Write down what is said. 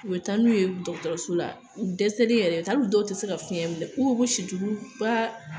U bɛ taa n'u ye dɔgɔtɔrɔso la u dɛsɛlen yɛrɛ, taa dɔw tɛ se ka fiɲɛ minɛ, u bɛ si tulu bari a la.